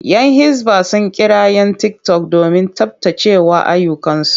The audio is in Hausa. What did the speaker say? Yan hisba sun kira 'yan tiktok domin tsabtace ayyukansu.